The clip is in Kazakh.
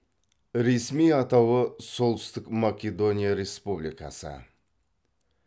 ресми атауы солтүстік македония республикасы